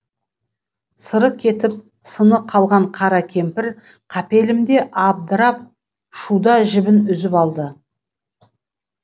сыры кетіп сыны қалған қара кемпір қапелімде абдырап шуда жібін үзіп алды